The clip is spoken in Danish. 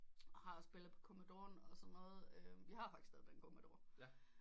Og har spillet på commodore og sådan noget vi har faktisk stadig den commodore